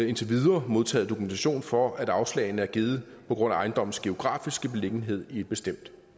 indtil videre modtaget dokumentation for at afslagene er givet på grund af ejendommens geografiske beliggenhed i et bestemt